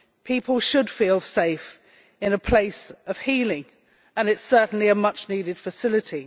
People should feel safe in a place of healing, and it is certainly a much needed facility.